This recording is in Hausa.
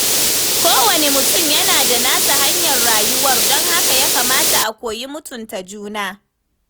Kowane mutum yana da nasa hanyar rayuwar, don haka ya kamata a koyi mutunta juna.